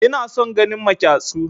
Ina son ganin maƙyassu